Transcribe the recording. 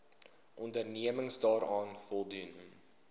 onderneming daaraan voldoen